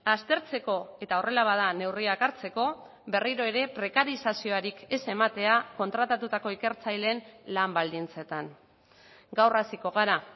aztertzeko eta horrela bada neurriak hartzeko berriro ere prekarizaziorik ez ematea kontratatutako ikertzaileen lan baldintzetan gaur hasiko gara